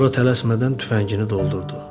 Sonra tələsmədən tüfəngini doldurdu.